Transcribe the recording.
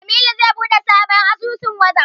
Jamilu zai buɗe sabon asusun Wazaf.